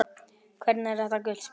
Hvernig er þetta gult spjald?